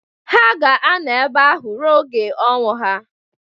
Ha ga-anọ ebe ahụ ruo oge onwụ ha.